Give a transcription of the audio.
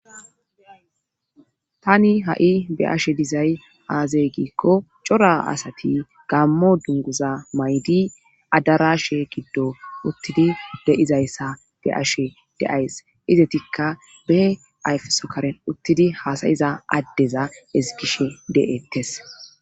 Tani ha'i be ashe dizay aazey giikko cora asati gammo dunguza maydi adarashe giddo uttidi deizayssa be ashe deays izetikka behe ayfesokaren uttidi haasayiza addeza eskishe de'ettes.